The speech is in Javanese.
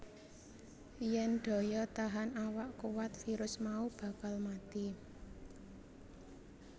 Yen daya tahan awak kuwat virus mau bakal mati